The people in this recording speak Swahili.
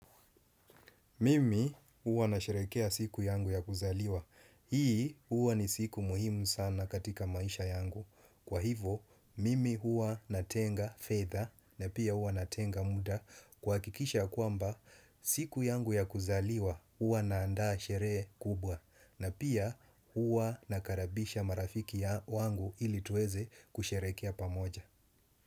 Mimi huwa na sherekea siku yangu ya kuzaliwa. Hii huwa ni siku muhimu sana katika maisha yangu. Kwa hivo, mimi huwa natenga fedha na pia huwa natenga muda kuhakikisha kwamba siku yangu ya kuzaliwa uwa naandaa sheree kubwa na pia huwa nakarabisha marafiki ya wangu ili tuweze kusherekea pamoja.